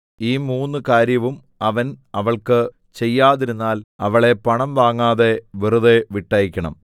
ഈ മൂന്ന് കാര്യവും അവൻ അവൾക്ക് ചെയ്യാതിരുന്നാൽ അവളെ പണം വാങ്ങാതെ വെറുതെ വിട്ടയയ്ക്കണം